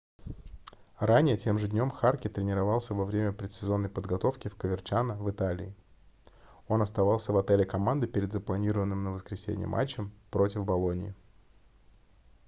ранее тем же днем харке тренировался во время предсезонной подготовки в коверчано в италии он оставался в отеле команды перед запланированным на воскресенье матчем против болоньи